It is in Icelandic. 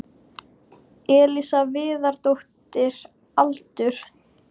Elísa Viðarsdóttir Aldur?